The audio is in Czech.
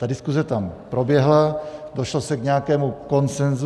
Ta diskuse tam proběhla, došlo se k nějakému širšímu konsenzu.